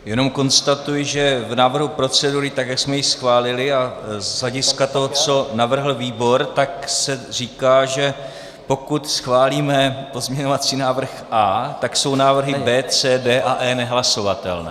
Jenom konstatuji, že v návrhu procedury, tak jak jsme ji schválili, a z hlediska toho, co navrhl výbor, tak se říká, že pokud schválíme pozměňovací návrh A, tak jsou návrhy B, C, D a E nehlasovatelné.